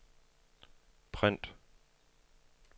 print